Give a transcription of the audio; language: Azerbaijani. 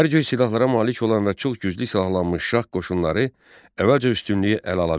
Hər cür silahlara malik olan və çox güclü silahlanmış şah qoşunları əvvəlcə üstünlüyü ələ ala bildilər.